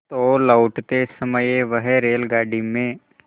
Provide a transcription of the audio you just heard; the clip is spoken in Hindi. तो लौटते समय वह रेलगाडी में